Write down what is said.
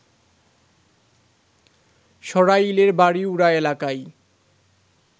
সরাইলের বাড়িউড়া এলাকায়